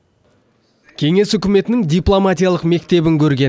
кеңес үкіметінің дипломатиялық мектебін көрген